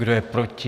Kdo je proti?